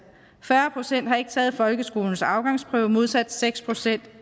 fyrre procent har ikke taget folkeskolens afgangsprøve modsat seks procent